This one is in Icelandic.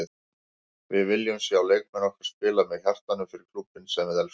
Við viljum sjá leikmenn okkar spila með hjartanu- fyrir klúbbinn sem við elskum.